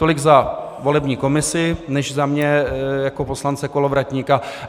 Tolik za volební komisi než za mě jako poslance Kolovratníka.